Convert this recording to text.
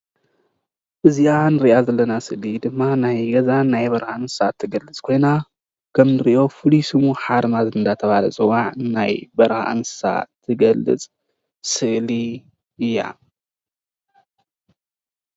እዘኣ ንርእያ ዘለና ስእሊ ድማ ናይ ገዛን በረዓን ትገልፅ ኮይና ከም ንሪኦ ፍሉይ ሽሙ ሓርማዝ እዳተበሃል ይፅዋዕ ናይ በረካ እንስሳ ትገልፅ ስእሊ እያ።